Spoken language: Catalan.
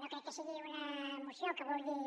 no crec que sigui una moció que vulgui